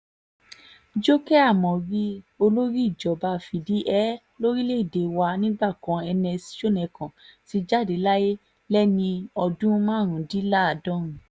jókè ámórì olórí ìjọba fìdí-hé lórílẹ̀‐èdè wa nígbà kan ernest shonekan ti jáde láyé lẹ́ni ọdún márùndínláàádọ́rùn